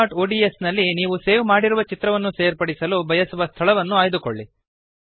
abcಒಡಿಎಸ್ ನಲ್ಲಿ ನೀವು ಸೇವ್ ಮಾಡಿರುವ ಚಿತ್ರವನ್ನು ಸೇರ್ಪಡಿಸಲು ಬಯಸುವ ಸ್ಥಳವನ್ನು ಆಯ್ದುಕೊಳ್ಳಿ